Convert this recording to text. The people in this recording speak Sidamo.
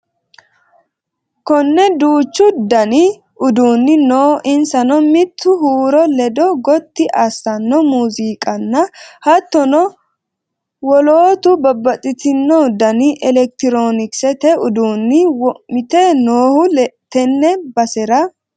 Kone duuchu dani uduuni no insano mitu huuro lede gotti assano muziiqana hattono wolootu babbaxxitino dani elekitironkisete uduuni wo'meti noohu tene basera.